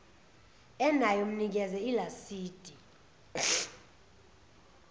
enayo mnikeze ilasidi